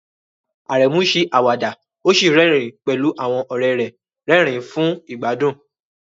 Aremu ṣe àwàdà ó sì rẹ́rìn-ín pẹ̀lú àwọn ọ̀rẹ́ rẹ́rìn-ín fún ìgbádùn.